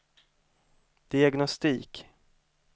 diagnostik